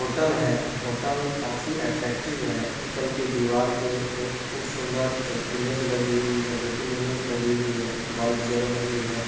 Hotel है hotel काफी attractive है | होटल के दीवार पे बोहोत खूब सुन्दर एक इमेज लगी हुई है दो तीन इमेज लगी हुई है| बल्ब जल रही है।